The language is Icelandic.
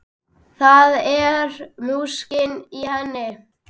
Það er músík í henni.